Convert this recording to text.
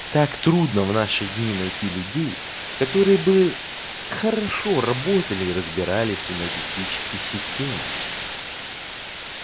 так трудно в наши дни найти людей которые бы хорошо работали и разбирались в энергетических системах